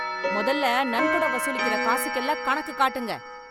மொதல்ல நன்கொட வசூலிக்கற காசுக்கு எல்லாம் கணக்கு காட்டுங்க.